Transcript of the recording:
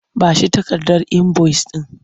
Ba shi takardar inboyis ɗin!